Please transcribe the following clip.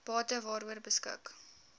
bate waaroor beskik